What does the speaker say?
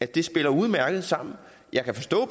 det spiller udmærket sammen jeg kan forstå